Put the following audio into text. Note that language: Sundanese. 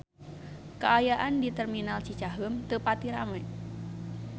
Kaayaan di Terminal Cicaheum teu pati rame